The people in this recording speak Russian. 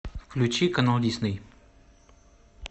включи канал дисней